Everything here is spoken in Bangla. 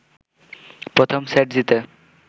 প্রথম সেট জিতে